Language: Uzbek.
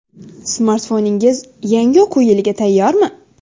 Smartfoningiz yangi o‘quv yiliga tayyormi?.